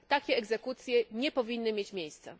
Takie egzekucje nie powinny mieć miejsca.